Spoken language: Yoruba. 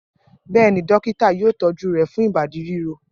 Bẹ́ẹ̀ ni, dọ́kítá yóò tọ́jú rẹ̀ fún ìbádí ríro.